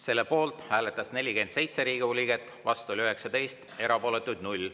Selle poolt hääletas 47 Riigikogu liiget, vastu oli 19, erapooletuid 0.